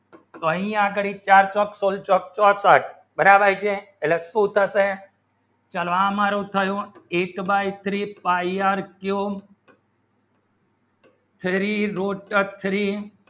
કહી આગળી ચાર ચોક ચોક ચોસઠ બરાબર છે લખું ઉત્તર છે ચલો આ મારું કરું eight by three pie r cube three root three